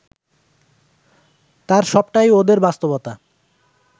তার সবটাই ওদের বাস্তবতা